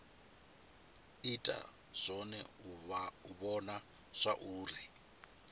ita zwone u vhona zwauri